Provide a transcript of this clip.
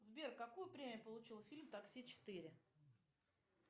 сбер какую премию получил фильм такси четыре